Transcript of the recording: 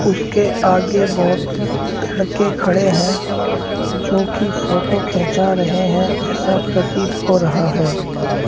उसके आगे बहोत लड़के खड़े हैं जोकि फोटो खींचा रहे हैं ऐसा प्रतीत हो रहा है।